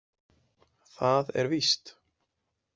Það er víst.